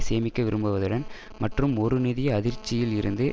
சேமிக்க விரும்புவதுடன் மற்றும் ஒரு நிதி அதிர்ச்சியில் இருந்து